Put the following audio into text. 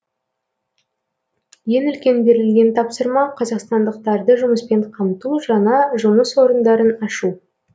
ең үлкен берілген тапсырма қазақстандықтарды жұмыспен қамту жаңа жұмыс орындарын ашу